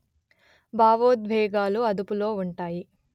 భావోద్వేగాలు అదుపులో ఉంటాయి